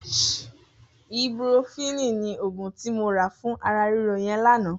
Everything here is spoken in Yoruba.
Ibúprófìní ni ógún ti mó rà fùn àrà rìró yèn lànã